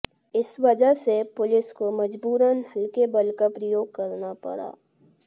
इस वजह से पुलिस को मजबूरन हल्के बल का प्रयोग करना पड़ा